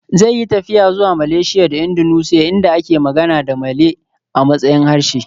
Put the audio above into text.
Zai yi tafiya zuwa Malaysia da Indonesia inda ake magana da Malay a matsayin harshe